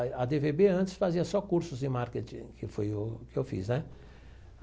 A dê vê bê antes fazia só cursos de marketing, que foi o que eu fiz, né?